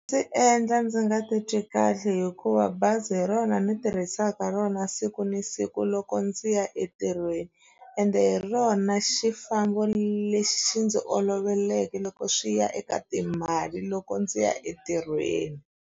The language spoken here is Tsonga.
Ndzi endla ndzi nga titwi kahle hikuva bazi hi rona ni tirhisaka rona siku ni siku loko ndzi ya entirhweni ende hi rona xifambo lexi ndzi oloveke loko swi ya eka timali loko ndzi ya entirhweni.